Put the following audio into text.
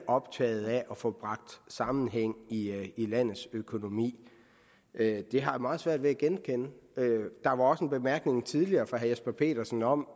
optaget af at få bragt sammenhæng i i landets økonomi det har jeg meget svært ved at genkende der var også en bemærkning tidligere fra herre jesper petersen om